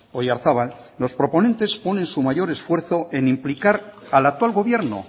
oyarzabal los proponentes ponen su mayor esfuerzo en implicar al actual gobierno